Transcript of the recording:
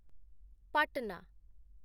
Patna